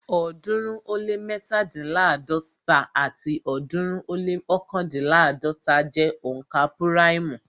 ọ̀ọ́dúnrún ó lé mẹ́tándínláàdọ́ta àti ọ̀ọ́dúnrún ó lé ọ̀kándínláàdọ́ta jẹ́ òǹkà púráìmù